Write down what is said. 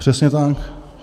Přesně tak.